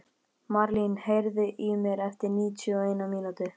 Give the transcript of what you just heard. Marlín, heyrðu í mér eftir níutíu og eina mínútur.